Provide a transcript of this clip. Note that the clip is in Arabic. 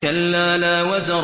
كَلَّا لَا وَزَرَ